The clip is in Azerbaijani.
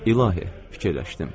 İlahi, fikirləşdim.